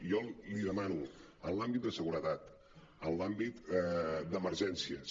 i jo li demano en l’àmbit de segure·tat en l’àmbit d’emergències